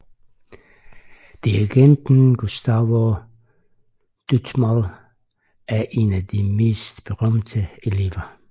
Dirigenten Gustavo Dudamel er en af de mest berømte elever